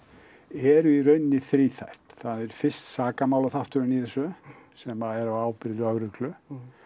eru í raun þríþætt það er fyrst sakamálaþátturinn í þessu sem er á ábyrgð lögreglu